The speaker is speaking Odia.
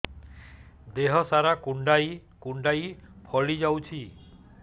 ଦେହ ସାରା କୁଣ୍ଡାଇ କୁଣ୍ଡାଇ ଫଳି ଯାଉଛି